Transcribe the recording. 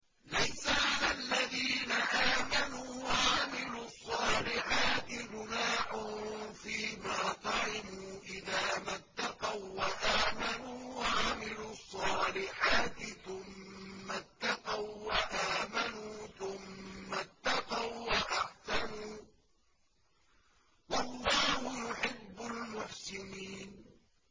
لَيْسَ عَلَى الَّذِينَ آمَنُوا وَعَمِلُوا الصَّالِحَاتِ جُنَاحٌ فِيمَا طَعِمُوا إِذَا مَا اتَّقَوا وَّآمَنُوا وَعَمِلُوا الصَّالِحَاتِ ثُمَّ اتَّقَوا وَّآمَنُوا ثُمَّ اتَّقَوا وَّأَحْسَنُوا ۗ وَاللَّهُ يُحِبُّ الْمُحْسِنِينَ